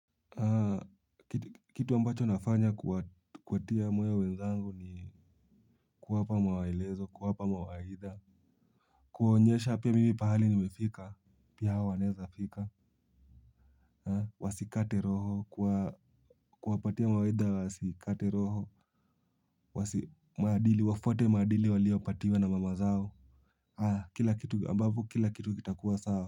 Kitu ambacho nafanya kuwatia moyo wenzangu ni kuwapa maelezo, kuwapa mawaidha kuwaonyesha pia mimi pahali nimefika pia hao wanaezafika. Wasikate roho kuwapatia mawaidha wasikate roho, maadili wafuate maadili waliyopatiwa na mama zao. Kila kitu ambavyo kila kitu kitakuwa sawa.